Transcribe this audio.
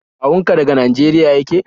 Kawun ka daga Nageriya yake?